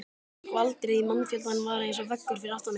Skvaldrið í mannfjöldanum var eins og veggur fyrir aftan mig.